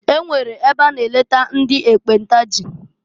E nwere ebe a na eleta ndị ekpenta jị.